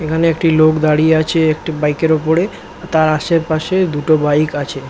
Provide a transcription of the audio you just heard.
এখানে একটি লোক দাঁড়িয়ে আছে একটি বাইক -এর ওপরে তার আশেপাশে দুটি বাইক আছে ।